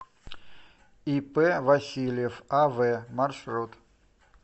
ип васильев ав маршрут